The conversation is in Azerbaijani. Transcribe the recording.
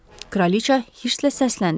Kraliçə hiddətlə səsləndi.